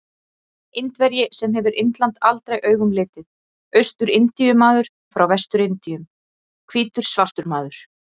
Indverji sem hefur Indland aldrei augum litið, Austur-Indíu-maður frá Vestur-Indíum, hvítur svartur maður.